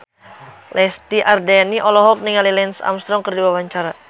Lesti Andryani olohok ningali Lance Armstrong keur diwawancara